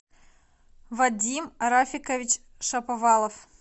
вадим рафикович шаповалов